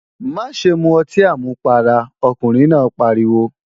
Má ṣe mu ọtí àmupara, ọkùnrin náà pariwo!